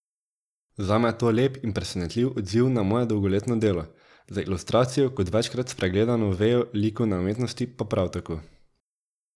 Zame je to lep in presenetljiv odziv na moje dolgoletno delo, za ilustracijo kot večkrat spregledano vejo likovne umetnosti pa prav tako.